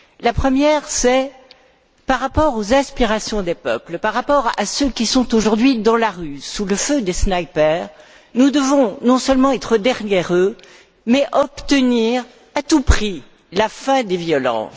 Tout d'abord, par rapport aux inspirations des peuples, par rapport à ceux qui sont aujourd'hui dans la rue, sous le feu des snipers, nous devons non seulement être derrière eux, mais aussi obtenir à tout prix la fin des violences.